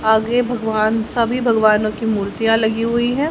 आगे भगवान सभी भगवानों की मूर्तियां लगी हुई हैं।